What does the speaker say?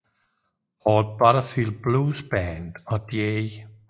Paul Butterfield Blues Band og J